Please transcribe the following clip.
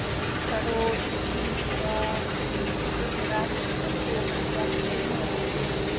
короче димочка у меня столько радости вообще что я придумала себе